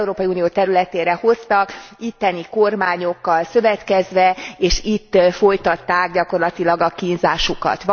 Unió területére hoztak, itteni kormányokkal szövetkezve és itt folytatták gyakorlatilag a kínzásukat.